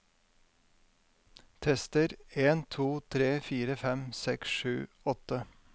Tester en to tre fire fem seks sju åtte